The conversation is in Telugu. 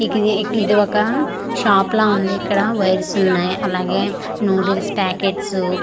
మికి ఇది ఇది ఒక షాప్ ల ఉంది ఇక్కడ వైరస్ ఉన్నాయ్ అలాగే నూడిల్స్ పాకెట్స్ వు .]